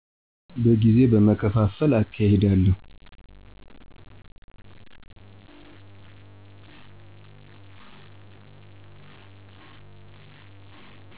በጊዜ በመከፍፍል አካሄዳለሁ።